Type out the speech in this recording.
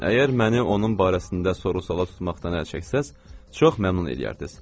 Əgər məni onun barəsində soru-suala tutmaqdan əl çəksəz, çox məmnun eləyərdiz.